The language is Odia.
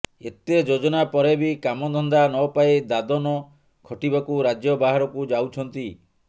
ଏତେ ଯୋଜନା ପରେ ବି କାମ ଧନ୍ଦା ନପାଇ ଦାଦନ ଖଟିବାକୁ ରାଜ୍ୟ ବାହାରକୁ ଯାଉଛନ୍ତି